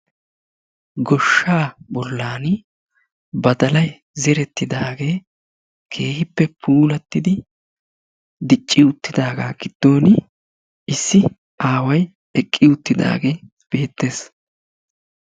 Goshaa bolaani badalay zeretidaagee keehippe pulatidi dicci uttidaaga giddon issi aaway eqi uttidaagee beetees.